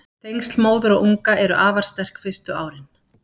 Tengsl móður og unga eru afar sterk fyrstu árin.